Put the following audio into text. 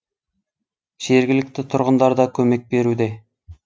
жергілікті тұрғындар да көмек беруде